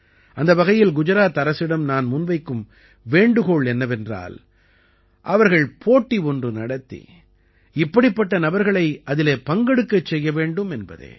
அந்த வகையில் குஜராத் அரசிடம் நான் முன்வைக்கும் வேண்டுகோள் என்னவென்றால் அவர்கள் போட்டி ஒன்று நடத்தி இப்படிப்பட்ட நபர்களை அதிலே பங்கெடுக்கச் செய்ய வேண்டும் என்பதே